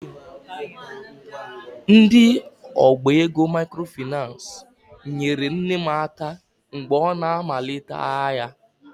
Ndị ọba ego microfinace nyere nne m aka mgbe ọ na-amalite ahịa.